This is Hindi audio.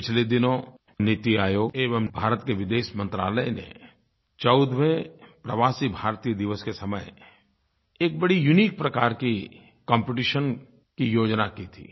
पिछले दिनों नीति आयोग एवं भारत के विदेश मंत्रालय ने 14वें प्रवासी भारतीय दिवस के समय एक बड़ी यूनिक प्रकार की कॉम्पिटिशन की योजना की थी